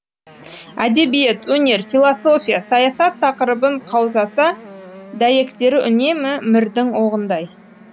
әдебиет өнер философия саясат тақырыбын қаузаса дәйектері үнемі мірдің оғындай